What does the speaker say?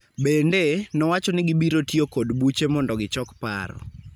Bende, nowacho ni gibiro tiyo kod buche mondo gichok paro